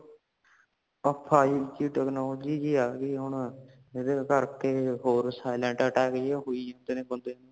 ਆ ਏਹੀ ਜੀ technology ਜੀ ਆ ਗਈ ਹੈ ਹੁਣ ਜੇਦੇ ਕਰਕੇ ਹੋਰ silent attack ਜਾ ਹੋਈ ਜਾਂਦਾ ਬੰਦੇ ਨੂੰ